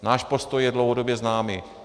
Náš postoj je dlouhodobě známý.